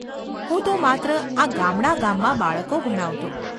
હું તો માત્ર આ ગામડા-ગામમાં બાળકો ભણાવતો.